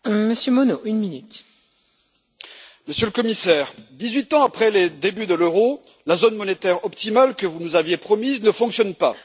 Madame la Présidente, Monsieur le Commissaire, dix huit ans après les débuts de l'euro, la zone monétaire optimale que vous nous aviez promise ne fonctionne pas.